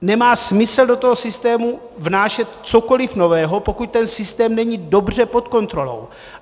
Nemá smysl do toho systému vnášet cokoliv nového, pokud ten systém není dobře pod kontrolou.